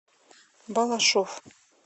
балашов